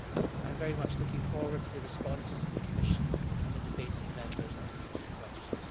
I am very much looking forward to the responses of the Commission and the debate of Members on these key questions.